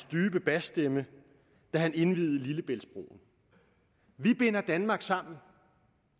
dybe basstemme da han indviede lillebæltsbroen vi binder danmark sammen